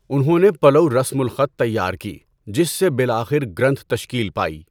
انہوں نے پلؤ رسم الخط تیار کی، جس سے بالآخر گرنتھ تشکیل پائی۔